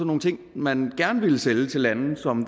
nogle ting man gerne ville sælge til lande som